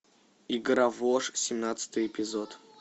игра в ложь семнадцатый эпизод